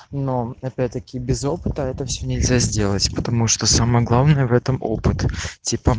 но опять-таки без опыта это все нельзя сделать потому что самое главное в этом опыт типо